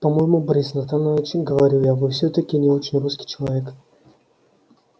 по-моему борис натанович говорю я вы всё-таки не очень русский человек